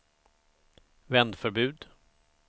vändförbud